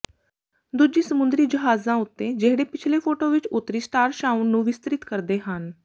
ਦੂਜੀ ਸਮੁੰਦਰੀ ਜਹਾਜ਼ਾਂ ਉੱਤੇ ਜਿਹੜੇ ਪਿਛਲੇ ਫੋਟੋ ਵਿੱਚ ਉੱਤਰੀ ਸਟਾਰਸ਼ਾਊਨ ਨੂੰ ਵਿਸਤ੍ਰਿਤ ਕਰਦੇ ਹਨ